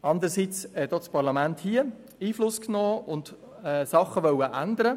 Andererseits hat auch das Parlament hier Einfluss genommen und wollte gewisse Dinge ändern.